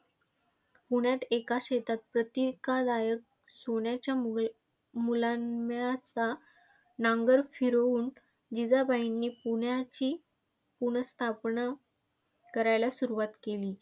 पुण्यात एका शेतात प्रतीकदायक सोन्याच्या मूलमुलाम्याचा नांगर फिरवून जिजाबाईंनी पुण्याची पुर्नस्थापना करायला सुरुवात केली.